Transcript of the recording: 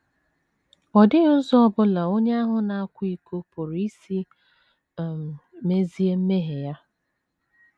Ọ dịghị ụzọ ọ bụla onye ahụ na - akwa iko pụrụ isi um mezie mmehie ya.